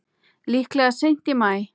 Líklega seint í maí.